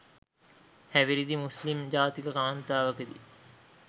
හැවිරිදි මුස්ලිම් ජාතික කාන්තාවකි